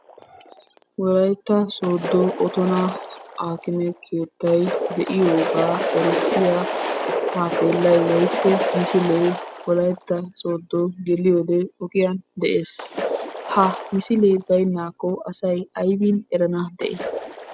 Wolaytta sooddo oottona akkimee keettay de'iyogaa erissiyaa taappellay woykko misilee wolaytta sooddo geliyode ogiyan de"ees. Ha misilee baynaakko asay aybin erana de'i?